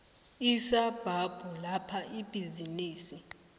isabhabhu lapho ibhizinisi